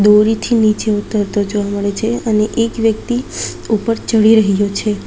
દોરીથી નીચે ઉતરતો જોવા મળે છે અને એક વ્યક્તિ ઉપર ચડી રહ્યો છે.